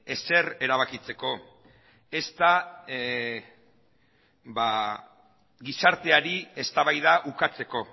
ezer erabakitzeko ez da gizarteari eztabaida ukatzeko